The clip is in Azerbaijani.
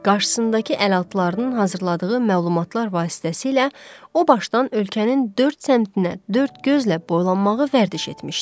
Qarşısındakı ələlatlarının hazırladığı məlumatlar vasitəsilə o başdan ölkənin dörd səmtinə dörd gözlə boylanmağı vərdiş etmişdi.